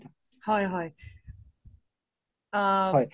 হয় হয় আ